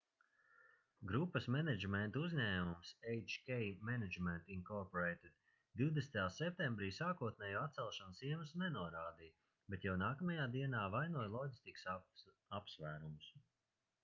grupas menedžmenta uzņēmums hk management inc 20. septembrī sākotnējo atcelšanas iemeslu nenorādīja bet jau nākamajā dienā vainoja loģistikas apsvērumus